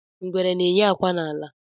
Ngwere na-eyi akwa n'ala.